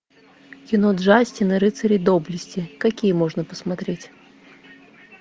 кино джастин и рыцари доблести какие можно посмотреть